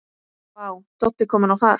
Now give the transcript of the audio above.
Vá, Doddi kominn á fast!